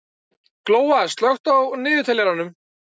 Glóa, slökktu á niðurteljaranum.